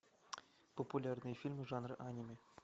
популярные фильмы жанра аниме